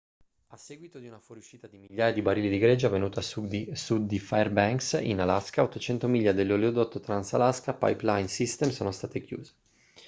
a seguito di una fuoriuscita di migliaia di barili di greggio avvenuta a sud di fairbanks in alaska 800 miglia dell'oleodotto trans-alaska pipeline system sono state chiuse